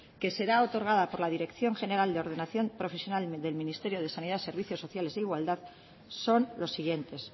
que serán otorgadas por la dirección general de ordenación profesional del ministerio de sanidad servicios sociales e igualdad son los siguientes